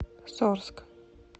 сорск